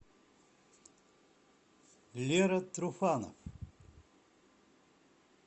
лера труфанов